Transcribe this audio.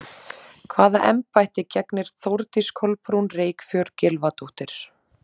Hvaða embætti gegnir Þórdís Kolbrún Reykfjörð Gylfadóttir?